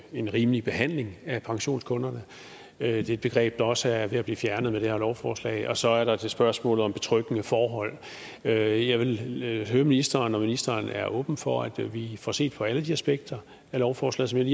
en rimelig behandling af pensionskunderne det er et begreb der også er ved at blive fjernet med det her lovforslag og så er der spørgsmålet om betryggende forhold jeg jeg vil høre ministeren om ministeren er åben for at vi får set på alle de aspekter af lovforslaget